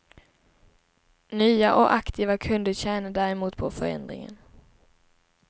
Nya och aktiva kunder tjänar däremot på förändringen.